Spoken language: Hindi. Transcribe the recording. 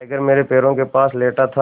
टाइगर मेरे पैरों के पास लेटा था